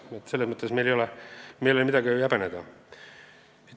Nii et selles mõttes ei ole meil midagi häbeneda.